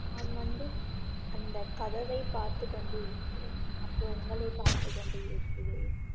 நான் வந்து அந்த கதவை பார்த்து கொண்டிருக்கிறேன் அப்புறம் உங்களை பார்த்து கொண்டிருக்கிறேன்